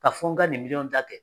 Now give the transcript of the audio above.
Ka fɔ n ka nin miliyɔn dakɛ